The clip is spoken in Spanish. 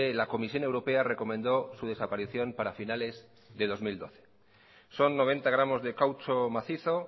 la comisión europea recomendó su desaparición para finales de dos mil doce son noventa gramos de caucho macizo